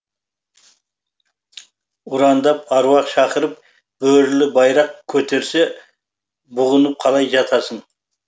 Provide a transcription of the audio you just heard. ұрандап аруақ шақырып бөрілі байрақ көтерсе бұғынып қалай жатасың